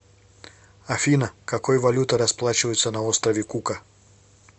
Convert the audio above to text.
афина какой валютой расплачиваются на острове кука